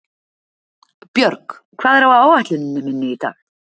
Björg, hvað er á áætluninni minni í dag?